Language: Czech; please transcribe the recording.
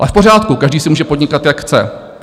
A v pořádku, každý si může podnikat, jak chce.